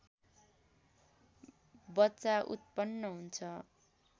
बच्चा उत्पन्न हुन्छ